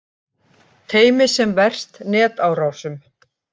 Teymi sem verst netárásum